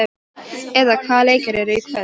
Eva, hvaða leikir eru í kvöld?